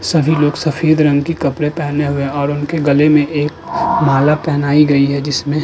सभी लोग सफेद रंग के कपड़े पहने हुए और उनके गले में एक माला पहनाई गई है जिसमें --